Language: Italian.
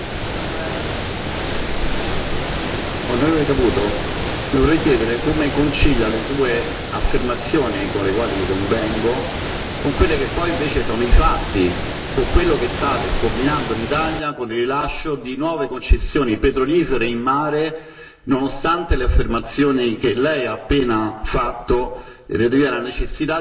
Signora Presidente, onorevoli colleghi, onorevole Caputo, Le vorrei chiedere come concilia le sue affermazioni, con le quali io convengo, con quelli che poi invece sono i fatti, con quello che state combinando in Italia con il rilascio di nuove concessioni petrolifere in mare, nonostante le affermazioni che Lei ha appena fatto